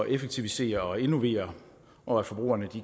effektivisere og innovere og at forbrugerne